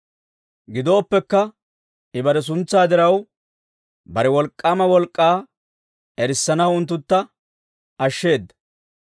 Gidooppekka I bare suntsaa diraw, bare wolk'k'aama wolk'k'aa erissanaw unttuntta ashsheeda.